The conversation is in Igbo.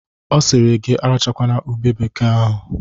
O siri gi arachakwala ube bekee ahụ!